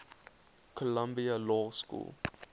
columbia law school